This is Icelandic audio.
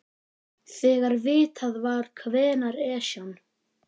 Þegar vitað var hvenær Esjan